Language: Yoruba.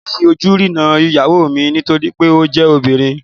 Èmi ò ní fi ojú rénà ìyàwó mi nítorí pé ó jẹ́ obìnrin